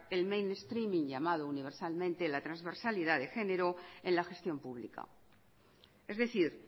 el mainstreaming llamado universalmente la transversalidad de genero en la gestión pública es decir